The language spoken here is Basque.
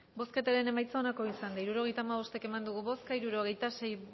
bozketaren emaitza onako izan da hirurogeita hamabost eman dugu bozka hirurogeita sei